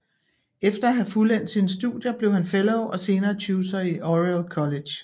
Efter at have fuldendt sine studier blev han fellow og senere tutor i Oriel College